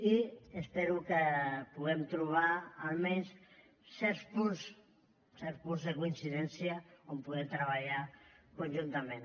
i espero que puguem trobar almenys certs punts certs punts de coincidència on poder treballar conjuntament